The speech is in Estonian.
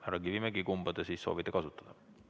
Härra Kivimägi, kumba te soovite kasutada?